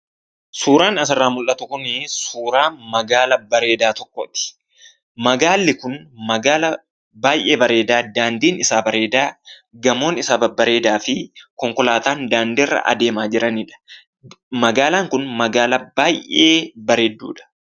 Suuraan asirraa mul'atu kunii suuraa magaalaa bareedaa tokkooti. Magaalli kun magaalaa baay'ee bareedaa, daandiin isaa bareedaa, gamoon isaa babbareedaa fi konkolaataan daandiirra adeemaa jiranidha. Magaalaan kun magaalaa baay'ee bareedduudha.